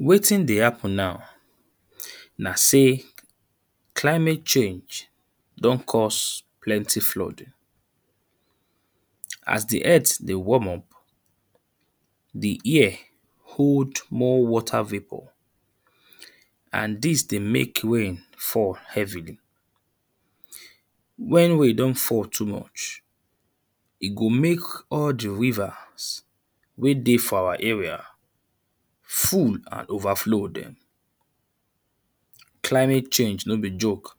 Wetin dey happen now na sey climate change don cause plenty flooding. As the earth warm up, the ear hold more water vapour and dis dey make rain fall heavily. ern When rain don fall too much e go make all the rivers wey dey for our area full and overflow dem. Climate change no be joke.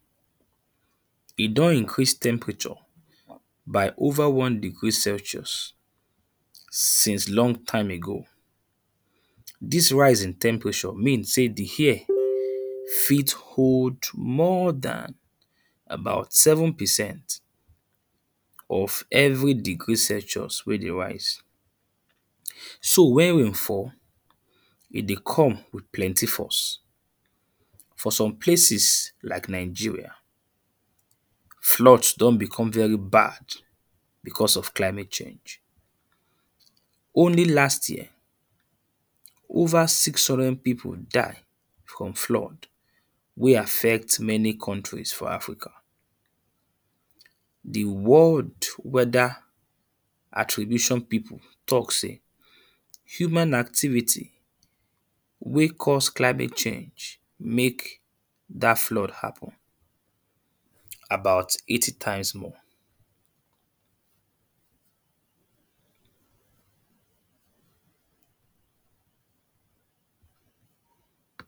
E don increase temperature by over one degree celsius. Since long time ago dis rise in temperature mean sey the ear fit hold more dan about seven percent of every degree celsius wey dey rise. Ern So when rain fall, e dey come with plenty force. For some places like Nigeria flood don become very bad because of climate change. Only last year over six hundred people died from flood wey affect many countries for africa. The world weather attribution people talk sey human activity wey cause climate change make dat flood happen about eighty times more.